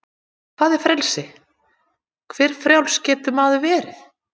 Hvað er frelsi, hve frjáls getur maður verið?